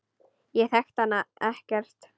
Ég þekki hana ekkert.